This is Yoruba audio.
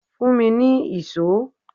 Fún mi ní ìṣó!